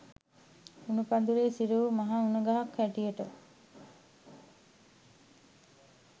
උණ පඳුරේ සිර වූ මහා උණ ගසක් හැටියට